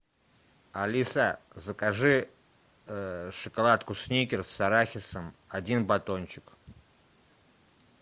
алиса закажи шоколадку сникерс с арахисом один батончик